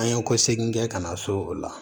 An ye kɔsegin kɛ ka na so o la